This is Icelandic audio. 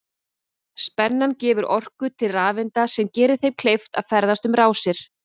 Spennan gefur orku til rafeinda sem gerir þeim kleift að ferðast um rásir.